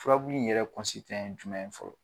Furabulu in yɛrɛ ye jumɛn ye fɔlɔ?